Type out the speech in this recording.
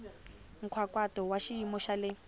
nkhaqato wa xiyimo xa le